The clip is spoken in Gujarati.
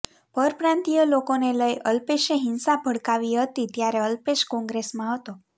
પરપ્રાંતીય લોકોને લઈ અલ્પેશે હિંસા ભડકાવી હતી ત્યારે અલ્પેશ કોંગ્રેસમાં હતો